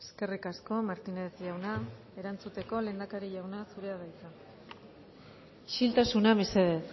eskerrik asko martínez jauna erantzuteko lehendakari jauna zurea da hitza isiltasuna mesedez